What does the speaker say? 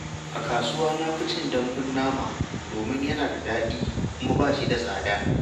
A kasuwa, na fi cin dambun nama domin yana da daɗi kuma ba shi da tsada.